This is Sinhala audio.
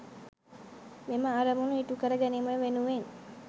මෙම අරමුණු ඉටු කර ගැනීම වෙනුවෙන්